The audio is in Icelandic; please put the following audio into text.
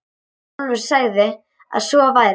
Álfur sagði að svo væri.